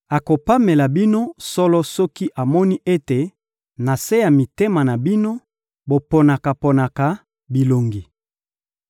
Akopamela bino solo soki amoni ete, na se ya mitema na bino, boponaka-ponaka bilongi.